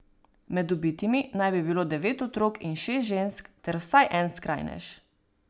Med ubitimi naj bi bilo devet otrok in šest žensk ter vsaj en skrajnež.